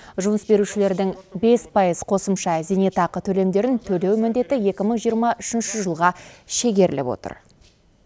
жұмыс берушілердің бес пайыз қосымша зейнетақы төлемдерін төлеу міндеті екі мың жиырма үшінші жылға шегеріліп отыр